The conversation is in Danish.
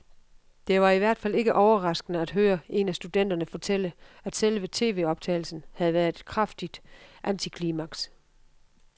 Det var i hvert fald ikke overraskende at høre en af studenterne fortælle, at selve tvoptagelsen havde været et kraftigt antiklimaks.